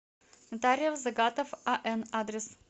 нотариус загатов ан адрес